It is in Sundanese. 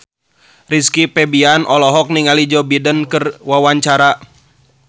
Rizky Febian olohok ningali Joe Biden keur diwawancara